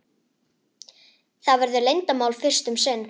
Það verður leyndarmál fyrst um sinn.